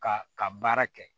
Ka ka baara kɛ